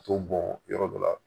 T'o bɔn yɔrɔ dɔ la